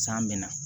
San mɛna